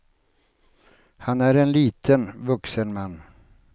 Han är en liten, vuxen man.